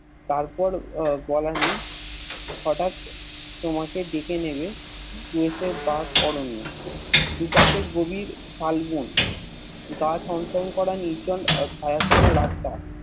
তারপর বলা নেই হটাৎ তোমাকে ডেকে নেবে সেই অরণ্য দু পাশে গভীর সাল বন গা ছম ছম করা নির্জন ছায়াছন্ন রাস্তা